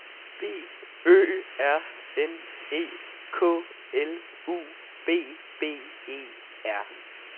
B Ø R N E K L U B B E R